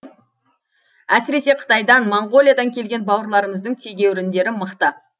әсіресе қытайдан моңғолиядан келген бауырларымыздың тегеуріндері мықты